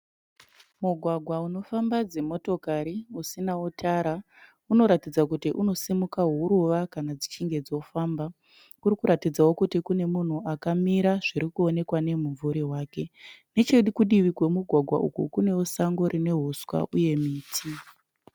Mugwagwa unofamba dzimotokari usinawo tara. Unoratidza kuti unosimuka huruva kana dzichinge dzoofamba. Kuri kuratidzawo kuti kune munhu akamira zvirikuonekwa nemumvuri wake. Nechekudivi kwemugwagwa iyu kunewo huswa uye miti.